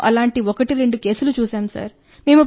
మేము అలాంటి 12 కేసులను చూశాం సార్